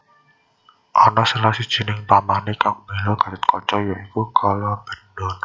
Ana salah sijining pamané kang mbela Gathotkaca ya iku Kalabendana